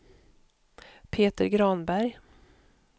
Peter Granberg